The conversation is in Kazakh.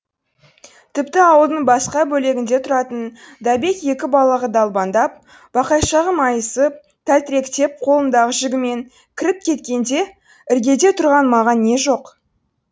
тіпті ауылдың басқа бөлегінде тұратын дабек екі балағы далбаңдап бақайшағы майысып тәлтіректеп қолындағы жүгімен кіріп кеткенде іргеде тұрған маған не жоқ